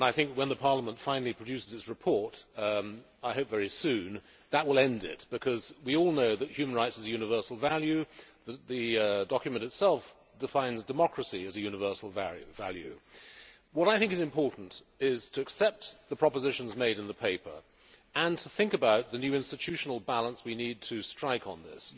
When Parliament finally produces its report I hope very soon I think that will end it, because we all know that human rights are a universal value, that the document itself defines democracy as a universal value. What I think is important is to accept the propositions made in the paper and to think about the new institutional balance we need to strike on this.